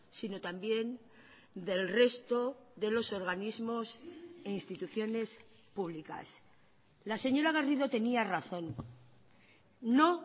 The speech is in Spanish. sino también del resto de los organismos e instituciones públicas la señora garrido tenía razón no